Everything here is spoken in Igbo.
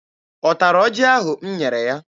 Ọ tara ọjị ahụ m nyere ya?